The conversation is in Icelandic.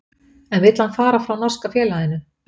En vill hann fara frá norska félaginu?